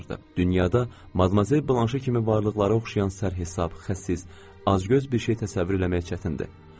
Dünyada madmazel Blanşa oxşayan sərhisab, xəsis, acgöz bir şey təsəvvür eləmək çətindir.